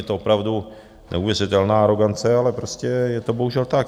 Je to opravdu neuvěřitelná arogance, ale prostě je to bohužel tak.